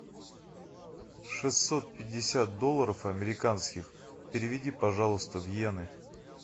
шестьсот пятьдесят долларов американских переведи пожалуйста в иены